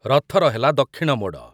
ରଥର ହେଲା ଦକ୍ଷିଣ ମୋଡ